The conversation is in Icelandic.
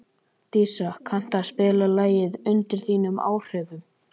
Dísa, kanntu að spila lagið „Undir þínum áhrifum“?